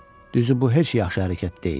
Düzü bu heç yaxşı hərəkət deyil.